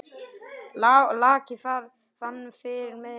Laki fyrir miðri mynd.